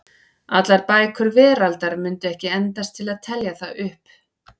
Allar bækur veraldar mundu ekki endast til að telja það upp.